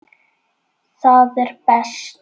Það er best.